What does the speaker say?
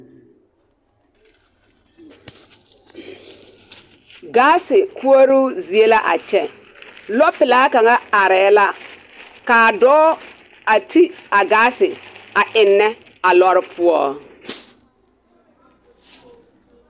Gaase koɔroo zie la a kyɛ lɔpelaa kaŋa arɛɛ la kaa dɔɔ a ti a gaase eŋnɛ a lɔɔre poɔ.